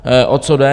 O co jde?